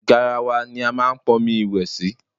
Garawa ni a máa pọn omi ìwẹ̀ sí.